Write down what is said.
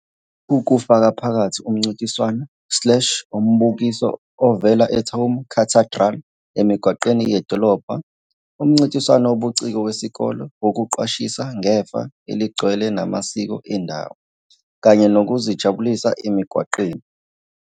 Lokhu kufaka phakathi umncintiswano slash umbukiso ovela eTuam Cathedral emigwaqweni yedolobha, umncintiswano wobuciko wesikole wokuqwashisa ngefa elingcwele namasiko endawo, kanye nokuzijabulisa emigwaqweni.